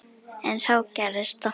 En þá gerðist það.